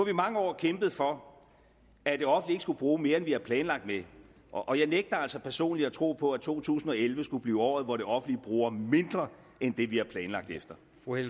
i mange år kæmpet for at det offentlige ikke skulle bruge mere end vi har planlagt med og jeg nægter altså personligt at tro på at to tusind og elleve skulle blive året hvor det offentlige bruger mindre end det vi har planlagt efter